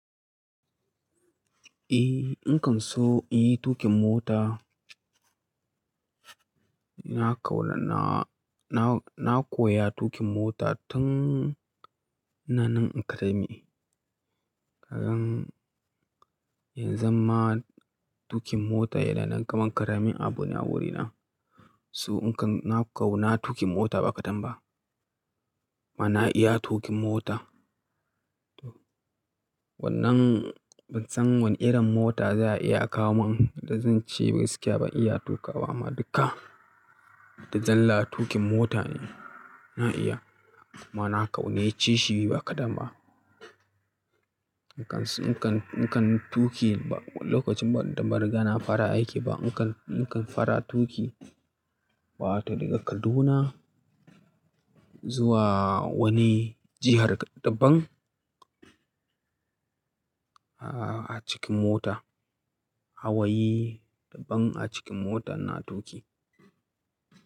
Eh, nakan so in yi tuƙin mota. Na kauna, na, na, na koya tuƙin mota tun nanan in karame. Kadan yanzan ma tuƙin mota yana nan kaman karamin abu ne a wurina. So in kan na kauna tuƙin mota ba kadan ba. Ma na iya tuƙin mota. Wannan ban san wani irin mota za a iya kawo min da zan ce gaskiya ban iya tuƙa ba. Amma duka, da zalla tuƙin mota ne na iya. Kuma na kaunace shi ba kadan ba. Nakan, nakan, nakan tuƙi ba lokacin ba da ba riga na fara aiki ba. Nakan, nakan fara tuƙi, wato daga Kaduna zuwa wani jihar dabban a cikin mota. Hawayi dabban a cikin mota na tuƙi.